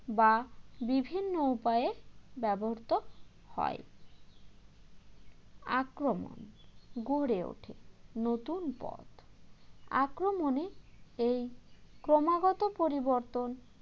বা বিভিন্ন উপায়ে ব্যবহৃত হয় আক্রমণ গড়ে ওঠে নতুন পথ আক্রমণে এই ক্রমাগত পরিবর্তন